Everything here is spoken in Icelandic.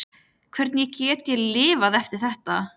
Hvernig get ég lifað eftir þetta?